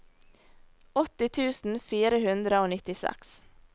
åtti tusen fire hundre og nittiseks